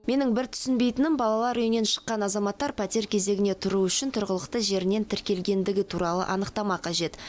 менің бір түсінбейтінім балалар үйінен шыққан азаматтар пәтер кезегіне тұру үшін тұрғылықты жерінен тіркелгендігі туралы анықтама қажет